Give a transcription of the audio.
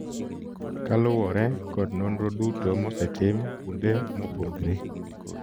Koluwore kod nonro duto mosetim kuonde mopogre